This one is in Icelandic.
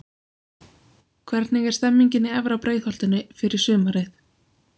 Hvernig er stemningin í efra Breiðholtinu fyrir sumarið?